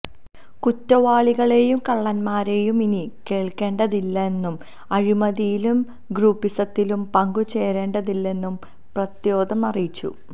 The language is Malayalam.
കുറ്റവാളികളെയും കള്ളന്മാരെയും ഇനി കേള്ക്കേണ്ടതില്ലെന്നും അഴിമതിയിലും ഗ്രൂപ്പിസത്തിലും പങ്കുചേരേണ്ടതില്ലെന്നും പ്രദ്യോത് അറിയിച്ചു